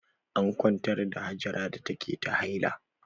An kwantar da Hajara da take ta haila.